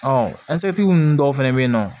ninnu dɔw fɛnɛ bɛ yen nɔ